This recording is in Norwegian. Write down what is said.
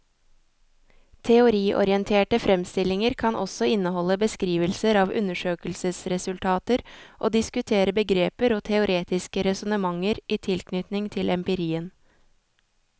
Teoriorienterte fremstillinger kan også inneholde beskrivelser av undersøkelsesresultater og diskutere begreper og teoretiske resonnementer i tilknytning til empirien.